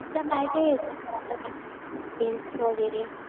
तुला काय काय येतं? वगैरे?